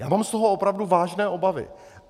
Já mám z toho opravdu vážné obavy.